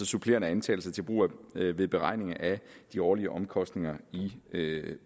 supplerende antagelser til brug ved ved beregning af de årlige omkostninger i